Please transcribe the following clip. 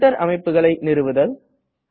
printer அமைப்புகளை நிறுவுதல்